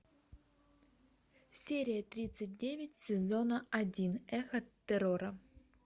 серия тридцать девять сезона один эхо террора